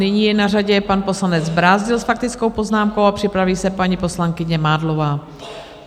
Nyní je na řadě pan poslanec Brázdil s faktickou poznámkou a připraví se paní poslankyně Mádlová.